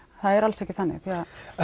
það er alls ekki þannig því að